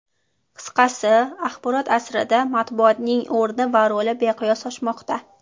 Qisqasi, axborot asrida matbuotning o‘rni va roli beqiyos oshmoqda.